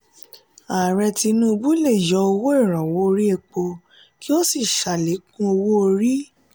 ààrẹ tinubu le yọ owó iranwọ orí èpo kí o sí salekun owó-orí.